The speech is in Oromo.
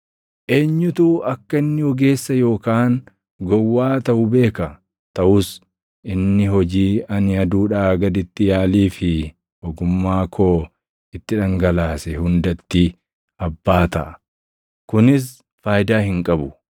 Eenyutu akka inni ogeessa yookaan gowwaa taʼu beeka? Taʼus inni hojii ani aduudhaa gaditti yaalii fi ogummaa koo itti dhangalaase hundatti abbaa taʼa. Kunis faayidaa hin qabu.